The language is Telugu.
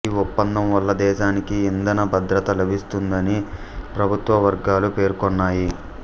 ఈ ఒప్పందం వల్ల దేశానికి ఇంధన భద్రత లభిస్తుందని ప్రభుత్వ వర్గాలు పేర్కొన్నాయి